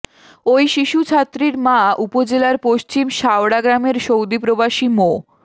ওই শিশু ছাত্রীর মা উপজেলার পশ্চিম শাওড়া গ্রামের সৌদি প্রবাসী মো